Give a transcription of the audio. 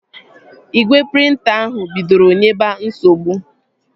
Igwe prịnta ahụ bidoro nyebe nsogbu